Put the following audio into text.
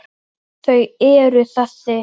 Þau eru þessi: